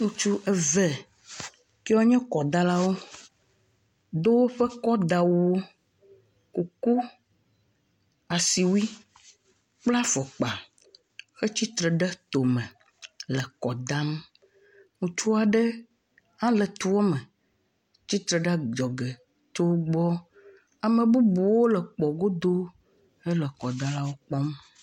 Ŋutsu eve wonye kɔdalawo do woƒe kɔdawuwo kuku asiwui kple afɔkpa wotitre tome le kɔdam ŋutsu aɖe ha le toa me tia titre ɖe adzɔge le wogbɔ ame bubuwo le kpɔ godo le wokpɔm